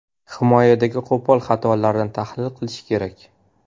Himoyadagi qo‘pol xatolarni tahlil qilish kerak.